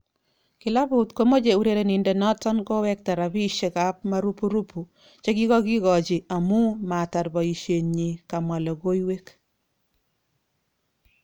Kilabut komoche urerenodet noton kowekta rapishek kap marupurupu chekikokikochi amun amun matar boishet nyin kamwa logoiwek.